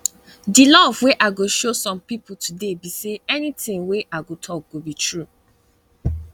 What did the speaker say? di love wey i go show people today be say anything wey i go talk go be true